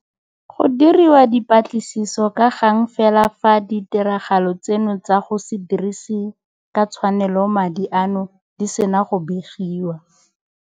Go diriwa dipatlisiso ka gang fela fa ditiragalo tseno tsa go se dirise ka tshwanelo madi ano di sena go begiwa.